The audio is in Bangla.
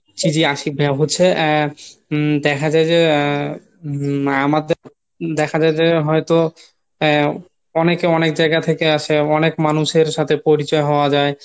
জি জি আশিক ভাইয়া হচ্ছে আহ হম দেখা যায় যে আহ আমাদের দেখা যায় যে হয়তো এ অনেকে অনেক জায়গা থেকে আসে অনেক মানুষের সাথে পরিচয় হওয়া যায়